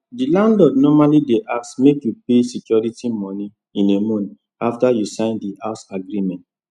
the landlord normally dey ask make you pay security moni in a month after you sign the house agreement